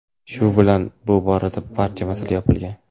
Shu bilan bu boradagi barcha masala yopilgan.